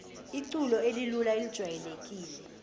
iculo elilula elijwayelekile